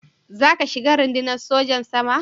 Za ka shiga Rundunar Sojan Sama?